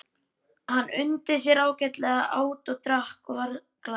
Hann undi sér ágætlega, át og drakk og var glaður.